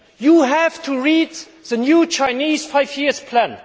you only have to read the new Chinese five year plan.